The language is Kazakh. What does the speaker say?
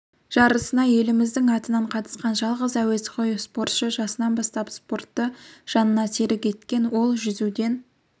жарысына еліміздің атынан қатысқан жалғыз әуесқой спортшы жасынан бастап спортты жанына серік еткен ол жүзуден